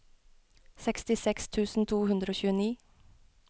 sekstiseks tusen to hundre og tjueni